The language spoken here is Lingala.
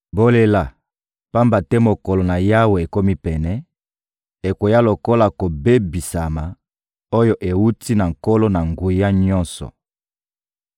Bolela, pamba te mokolo na Yawe ekomi pene, ekoya lokola kobebisama oyo ewuti na Nkolo-Na-Nguya-Nyonso.